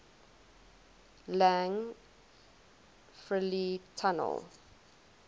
lang fr le tunnel